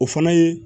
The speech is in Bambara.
O fana ye